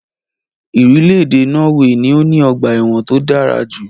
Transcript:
Irílèdè Norway ni o ní ogbà èwòn to dárajù